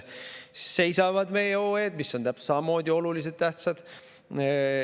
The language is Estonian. Seisavad meie OE-d, mis on täpselt samamoodi olulised, tähtsad.